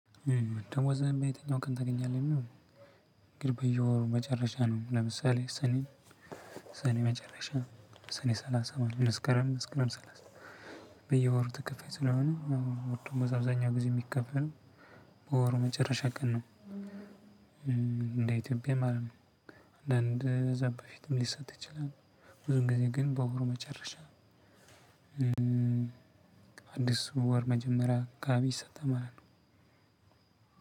ደሞዝህን በየትኛው ቀን ታገኛለህ? የሚሆነው ግን በየወሩ መጨረሻ ነው ለምሳሌ ሰኔ ሰኔ መጨረሻ ሰኔ ሰላሳ መስከረም መስከረም ሰላሳ በየወሩ ተከፋይ ስለሆነ ደሞዝ በአብዛኛው ጊዜ ሚከፈለው በወሩ መጨረሻ ቀን ነው። እንደ ኢትዮጵያ ማለት ነው። እንደ እዛ በፊትም ሊሰጥ ይችላል ብዙ ጊዜ ግን በወሩ መጨረሻ አዲስ ወር መጀመሪያ አካባቢ ይሰጣል ማለት ነው።